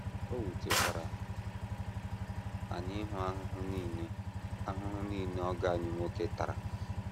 O wutekwara anyị ịhụ ahụhụ nile ahụhụ nile ọgọ anyị nwoke tara.